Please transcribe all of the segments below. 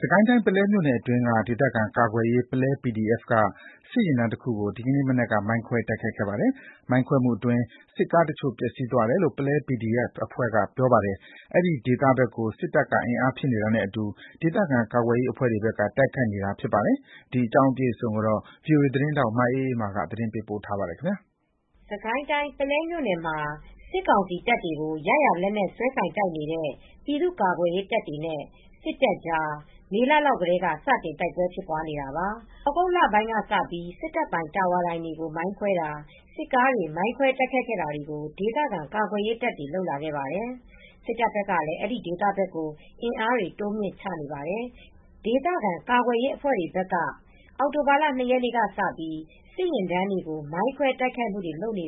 စစ်ကိုင်းတိုင်း ပုလဲမြို့နယ်အတွင်းက ဒေသခံကာကွယ်ရေး ပုလဲ PDF က စစ်ယာဉ်တန်းတခုကို ဒီနေ့ မနက်က မိုင်းခွဲတိုက် ခိုက်ခဲ့ပါတယ်။ မိုင်းခွဲမှုအတွင်း စစ်ကားတချို့ပျက်စီးသွားတယ်လို့ ပုလဲ PDF အဖွဲ့ဘက်ကပြောပါတယ်။ အဲဒီဒေသဘက်ကို စစ်တပ်က အင်အားဖြည့်နေတာနဲ့အတူ ဒေသခံကာကွယ်ရေးအဖွဲ့တွေဘက်က တိုက်ခိုက်နေတာဖြစ်ပါတယ်။ ဗွီအိုအေ သတင်းထောက် မအေးအေးမာက အပြည့်အစုံ တင်ပြပေးထားပါတယ်။ စစ်ကိုင်းတိုင်း ပုလဲမြို့နယ်မှာ စစ်ကောင်စီတပ်တွေကို ရရာလက်နက်စွဲကိုင်တိုက်နေတဲ့ ပြည်သ့ူကာကွယ်ရေးတပ်တွေနဲ့ စစ်တပ်ကြား မေလလောက်ထဲက စတင် တိုက်ပွဲတွေဖြစ်နေတာပါ။ သြဂုတ်လပိုင်းလောက်ကစပြီး စစ်တပ်ပိုင် တာဝါတိုင်တွေ မိုင်းခွဲတာ၊ စစ်ကားတွေ မိုင်းခွဲတိုက်ခိုက်တာတွေကို ဒေသခံကာကွယ်ရေးတပ်တွေ လုပ်လာခဲ့ပါတယ်။ စစ်တပ်ဘက်ကလည်း အဲဒီဒေသဘက်ကို အင်အားတွေ တိုးမြှင့်ချနေပါတယ်။ ဒေသခံကာကွယ်ရေးအဖွဲ့တွေဘက်က အောက်တိုဘာ ၂ ရက်နေ့ကစပြီး စစ်ယာဉ်တန်းတွေကို မိုင်းခွဲတိုက်ခိုက်နေတယ်လို့ ပု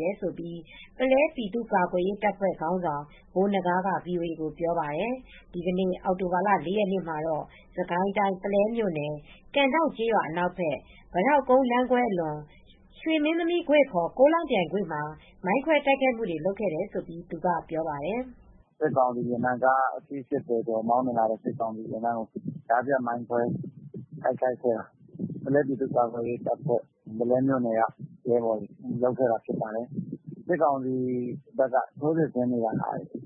လဲပြည်သူကာကွယ်ရေးတပ်ဖွဲ့ ခေါင်းဆောင်ဗိုလ်နဂါးက VOA ကိုပြောပါတယ်။ ဒီနေ့ အောက်တိုဘာ ၄ ရက်မှာတော့ စစ်ကိုင်တိုင်း၊ ပုလဲမြို့နယ်၊ ကန်ဒေါင့်ကျေးရွာအနောက်ဘက် ပိတောက်ကုန်းလမ်းခွဲအလွန် ရွှေမင်းသမီးကွေ့ (ခ) ကိုးလောင်ပြိုင်ကွေ့မှာ မိုင်းခွဲတိုက်ခိုက်ခဲ့တယ်လို့ သူကပြောပါတယ်။ “စစ်ကောင်စီယာဉ်တန်းကား ၈၀ ကျော် မောင်းနှင်လာတုန်း ကြားဖြတ်ပြီး မိုင်းခွဲတိုက်ခိုက်ခဲ့တာ။ ပုလဲပြည်သူ့ကာကွယ်ရေးတပ်ဖွဲ ၊ ပုလဲမြို့နယ်ကရဲဘော်တွေ လုပ်ခဲ့တာဖြစ်ပါတယ်။ စစ်ကောင်စီဘက်က ထိုးစစ်ဆင်နေတာက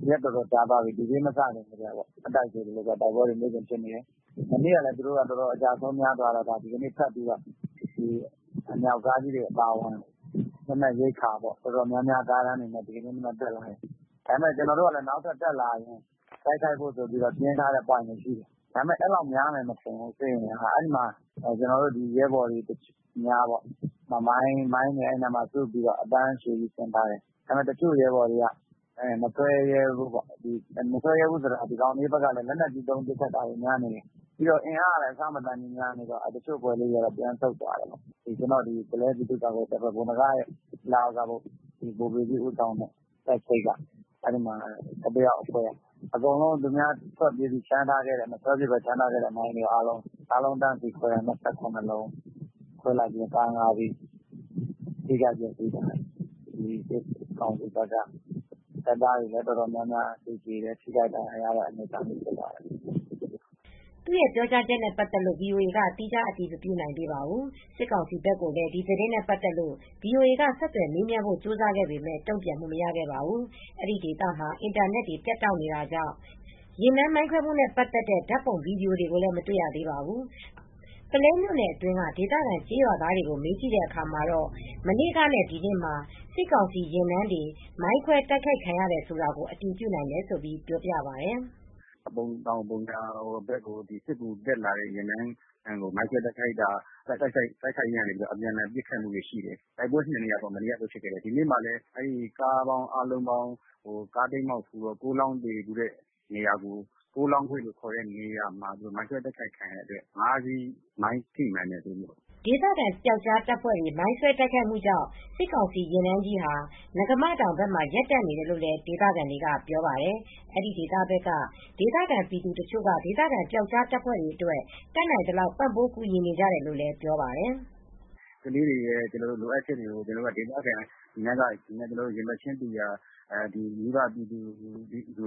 ရက်အတော်ကြာသွားပြီ။ D Day မစခင် မတိုင်ခင်ကတည်းက တိုက်ပွဲတွေဖြစ်နေတယ်။ မနေ့ကလည်း သူတို့က အကျဆုံးများသွားတော့ အမြောက်ကားကြီးတွေအပါအဝင် လက်နက်ရိက္ခာတော်တော်များများ ကားတန်းတွေနဲ့ ဒီနေ့ မနက်တက်လာတယ်။ ကျနော်တို့ကလည်း နောက်ထပ်တက်လာရင် ပြင်ထားဖို့ ပွိုင့်တွေရှိတယ်။ ဒါပေမယ့် အဲဒီလောက်များမယ်မထင်ဘူး။ စစ်အင်အားက။ ကျနော်တို့ရဲဘော်တွေက မိုင်းတွေစုပြီး အတန်းအရှည်ကြီး ဆင်ထားတယ်။ ဒါပေမယ့် တချို့ရဲဘော်တွေက မဆွဲရဲဘူး။ မဆွဲရဲဘူးဆိုတာကတော့ ဒီကောင်တွေဘက်ကလည်း လက်နက်ကြီးနဲ့ ပစ်တာများနေတယ်။ အင်အားကလည်း အဆမတန်များနေတော့ တချို့အဖွဲ့လေးတွေက ပြန်ဆုတ်သွားတယ်။ ကျနော်တို့ ပုလဲ ပြည်သူ့ကာကွယ်ရေးတပ် ဗိုလ်နဂါးလက်အောက်က ဗိုလ်ပေကြီးဦးဆောင်တဲ့ တပ်စိပ် ၁၁ ယောက်အဖွဲ့က အကုန်လုံး သူများထွက်ပြေးပြီး မဆွဲဖြစ်ဘဲ ချန်ထားခဲ့တဲ့မိုင်းတွေအားလုံးကို တန်းစီးခွဲတာ။ ၂၇ လုံး ခွဲလိုက်ပြီး ကား ၅ စီးထိခိုက်ပျက်စီးသွားတယ်။ စစ်ကောင် စီဘက်က တော်များများတပ်သားတွေလည်း သေကြတယ်။ ထိခိုက်ဒဏ်ရာရတဲ့အနေအထားလည်း ဖြစ်သွားတယ်။” သူ့ပြောကြားချက်နဲ့ ပတ်သက်လို့ ဗွီအိုအေက သီးခြား အတည်မပြုနိုင်ပါဘူး။ စစ်ကောင်စီဘက်ကိုလည်း ဒီသတင်းနဲ့ ပတ်သက်လို့ ဗီအိုအေက ဆက်သွယ်မေးမြန်းဖို့ ကြိုးစားခဲ့ပေမယ့် တုံ့ပြန်မှု မရခဲ့ပါဘူး။ အဲဒီဒေသမှာ အင်တာနက်တွေ ပြတ်တောက်နေတာကြောင့်ယာဉ်တန်းမိုင်းခွဲမှုနဲ့ပတ်သက်တဲ့ ဓါတ်ပုံ၊ ဗီဒီယိုတွေကိုလည်း မတေ့ွရသေးပါဘူး။ ပုလဲမြို့နယ်အတွင်းက ဒေသခံကျေးရွာသားတွေကို မေးကြည့်ခဲ့ရာမှာတော့ မနေ့ကနဲ့ ဒီနေ့မှာ စစ်ကောင်စီယာဉ်တန်းတွေ မိုင်းခွဲတိုက်ခိုက်ခံရတယ်ဆိုတာကို အတည်ပြုနိုင်တယ်လို့ ပြောပါတယ်။ “ပုံတောင်ပုံညာဘက်ကို စစ်ကူတက်လာတဲ့ကားတန်းကို မိုင်းခွဲတိုက်ခိုက်ခဲ့လို့ အပြန်အလှန် တိုက်ပွဲဖြစ်တာတွေရှိတယ်။ တိုက်ပွဲ ၂ နေရာပေါ့။ မနေ့ကလည်း ဖြစ်တယ်။ ဒီနေ့မှာလည်း ကားတိမ်းမှောက်ဖူးတဲ့ ကိုးလောင်းကွေ့ဆိုတဲ့နေရာမှာ မိုင်းခွဲတိုက်ခိုက်ခဲ့လို့ ကား ၅ စီးထိမှန်တယ်လို့သိရတယ်။” ဒေသခံပျောက်ကြားတပ်ဖွဲ့တွေမိုင်းဆွဲတိုက်ခိုက်မူကြောင့် စစ်ကောင်စီယာဉ်တန်းကြီးဟာ နဂါးမတောင်ဘက်မှာ ရပ်တန့် နေတယ်လို့လည်း ဒေသခံတွေက ပြောပါတယ်။ အဲဒီဘက်က ဒေသခံပြည်သူတချို့က ဒေသခံပျောက်ကြားတပ်ဖွဲ့တွေအတွက် တတ်နိုင်သလောက် ပံ့ပိုးကူညီနေကြတယ်လို့လည်းပြောပြပါတယ်။ “ကလေးတွေရဲ့လိုအပ်ချက်တွေကို ဒေသခံတွေ၊ ရင်ဘတ်တူရာ မိဘပြည်သူတွ